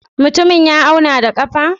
Mutumin ya auna da ƙafa?